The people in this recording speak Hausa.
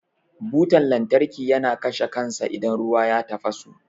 Butan lantarki yana kashe kansa idan ruwa ya tafasu.